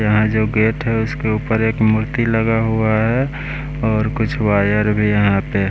यहाँ जो गेट है उसके ऊपर एक मूर्ति लगा हुआ है और कुछ वायर भी यहाँ पे --